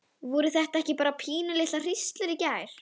Voru þetta ekki bara pínulitlar hríslur í gær?